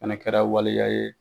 kɛra waliya ye